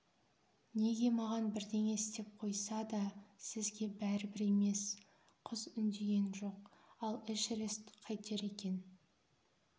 неге маған бірдеңе істеп қойса да сізге бәрібір емес қыз үндеген жоқ ал эшерест қайтер екен